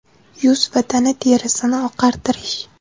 Yuz va tana terisini oqartirish.